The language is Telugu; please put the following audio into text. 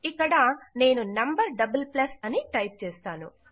ఇక్కడ నేను num అని టైప్ చేస్తాను